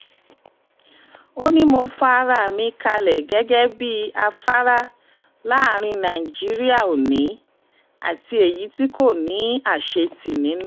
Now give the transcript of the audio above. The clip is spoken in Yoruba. ó ní mo fa ara mi kalẹ̀ gẹ́gẹ́ bíi afárá láàrin nàìjíríà òní àti èyí tí kò ní àṣetì nínú